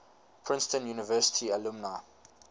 princeton university alumni